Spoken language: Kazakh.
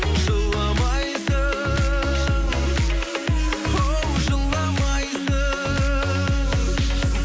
жыламайсың оу жыламайсың